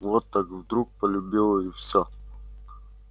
вот так вдруг полюбила и все